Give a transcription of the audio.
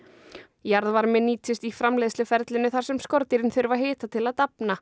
jarðvarmi nýtist í framleiðsluferlinu þar sem skordýrin þurfi hita til að dafna